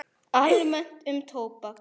Almennt um tóbak